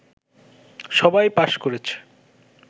সবাই পাস করেছে